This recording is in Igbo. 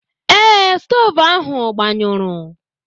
Ee, stoovu ahụ agbanyụrụ.